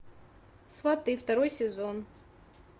сваты второй сезон